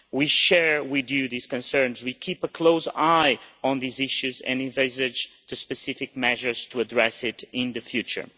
We share with you these concerns, we keep a close eye on these issues and envisage the specific measures to address them in the future.